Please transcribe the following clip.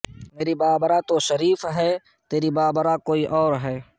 میری بابرہ تو شریف ہے تیری بابرہ کوئی اور ہے